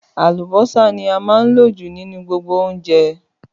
Àlùbọ́sà ní a máa ń lò jù nínú gbogbo oúnjẹ